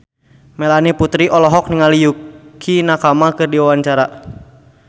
Melanie Putri olohok ningali Yukie Nakama keur diwawancara